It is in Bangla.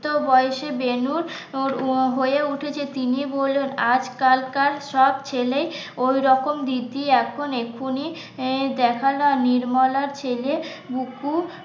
বয়সের বেনুর হয়ে উঠেছে তিনি বললেন আজকালকার সব ছেলে ওইরকম দিদি এখন এক্ষুনি দেখ না নির্মলা ছেলে